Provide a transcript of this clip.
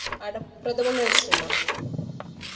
അട പ്രഥമന്‍ കഴിച്ചിട്ടുണ്ടോ?